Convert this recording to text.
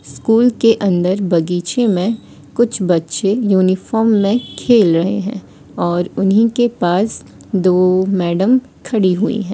School के अंदर बगीचे में कुछ बच्चे यूनिफॉर्म में खेल रहे हैं और उन्हीं के पास दो मैडम खड़ी हुई है।